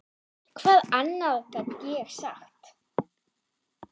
Hvað annað get ég sagt?